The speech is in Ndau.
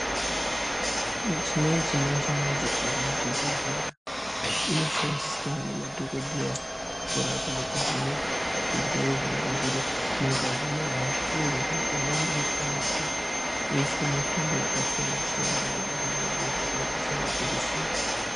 Michina yechimanje manje irimuzvibhedhlera inoshandiswa nemadhogodheya kurapa nekuvheneka zvirwere zvinenge zviri mungazi meanhu uye zvee imweni inoshandiswa kuise mitombo yakasiyana-siyana mumwiri mwedu zvakaita semajekiseni.